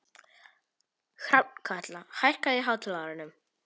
Hrafnkatla, hækkaðu í hátalaranum.